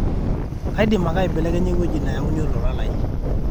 kaidim ake aibelekenya ewueji nayauni olola lai